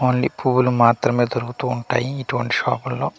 Only పువ్వులు మాత్రమే దొరుకుతు ఉంటాయి ఇటువంటి షాపులో .